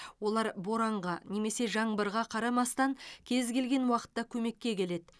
олар боранға немесе жаңбырға қарамастан кез келген уақытта көмекке келеді